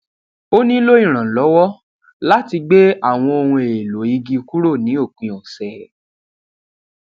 ó nílò ìrànlówó láti gbé àwọn ohun èèlò igi kúrò ní òpin òsè